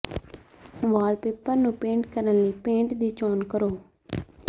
wallpaper ਨੂੰ paint ਕਰਨ ਲਈ ਪੇਂਟ ਦੀ ਚੋਣ ਕਰੋ